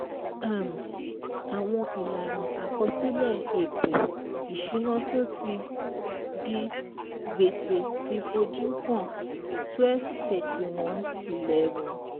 um Àwọn ìlànà àkọsílẹ̀ ètò ìṣùná tó ti di gbèsè ti fojú hàn twelve thirty one eleven